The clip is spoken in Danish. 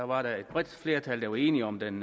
var der et bredt flertal der var enige om den